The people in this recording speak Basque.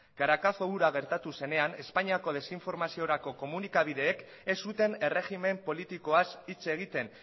caracazo hura gertatu zenean espainiako desinformaziorako komunikabideek ez zuten erregimen politikoaz hitz egiten